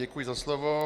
Děkuji za slovo.